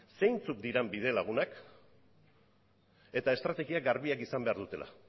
zeintzuk diren bidelagunak eta estrategia garbiak izan behar dutela